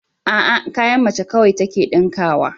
A'a, kayan mace kawai take ɗinkawa